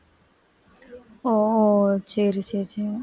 ஒ சரி சரி சரி சரி